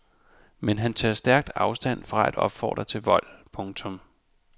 Men han tager stærkt afstand fra at opfordre til vold. punktum